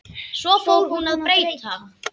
Svo fór hún að breyta.